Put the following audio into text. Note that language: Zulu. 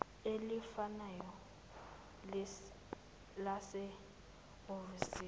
elifanayo lase hhovisi